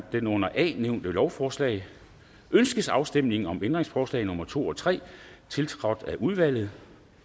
det under a nævnte lovforslag ønskes afstemning om ændringsforslag nummer to og tre tiltrådt af udvalget